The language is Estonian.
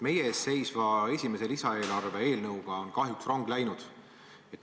Meie ees seisva esimese lisaeelarve eelnõu puhul on kahjuks rong läinud.